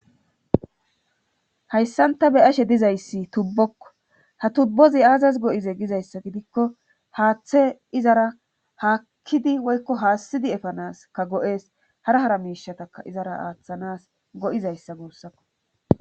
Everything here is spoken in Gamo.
Hayssanta be ashe dizayssi tubbokko ha tubbozi aazaz go7ize gizayssa gidikko haaththe izara haakkidi woykko haassidi efanas ka go7ees hara hara miishataka izara aaththanas go7izayssa guussakko